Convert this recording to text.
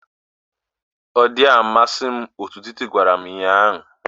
Ọ dịghị amasị m otú Titi gwara m ụnyahụ